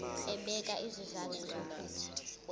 ebeka izizathu zokuthi